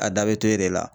A da bɛ to e de la